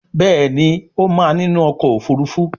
Béèni o má ninu ọkọ̀ òfurufú.